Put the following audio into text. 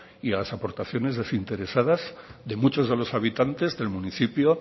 y a las aportaciones desinteresadas de muchos de los habitantes del municipio